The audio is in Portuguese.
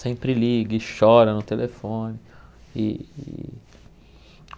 sempre liga e chora no telefone. E e